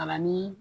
Kalan ni